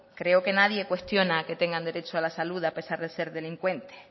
creo que nadie cuestiona que tengan derecho a la salud a pesar de ser delincuentes